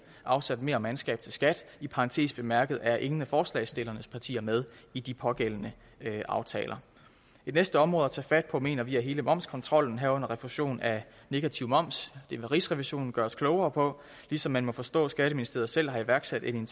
afsat mere mandskab til skat i parentes bemærket er ingen af forslagsstillernes partier med i de pågældende aftaler det bedste område at tage fat mener vi er hele momskontrollen herunder refusion af negativ moms det vil rigsrevisionen gøre os klogere på ligesom man må forstå at skatteministeriet selv har iværksat en